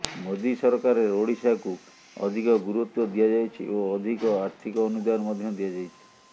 ମୋଦି ସରକାରରେ ଓଡ଼ିଶାକୁ ଅଧିକ ଗୁରୁତ୍ୱ ଦିଆଯାଇଛି ଓ ଅଧିକ ଆର୍ଥିକ ଅନୁଦାନ ମଧ୍ୟ ଦିଆଯାଇଛି